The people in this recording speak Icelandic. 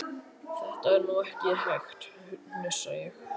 Þetta er nú ekki hægt, hnussa ég.